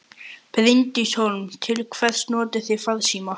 Bryndís Hólm: Til hvers notið þið farsímann?